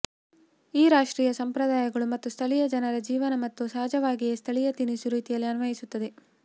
ಈ ರಾಷ್ಟ್ರೀಯ ಸಂಪ್ರದಾಯಗಳು ಮತ್ತು ಸ್ಥಳೀಯ ಜನರ ಜೀವನ ಮತ್ತು ಸಹಜವಾಗಿ ಸ್ಥಳೀಯ ತಿನಿಸು ರೀತಿಯಲ್ಲಿ ಅನ್ವಯಿಸುತ್ತದೆ